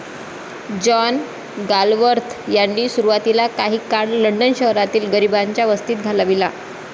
John Galsworthy यांनी सुरवातीला काही काळ लंडन शहरातील गरिबांच्या वस्तीत घालविला.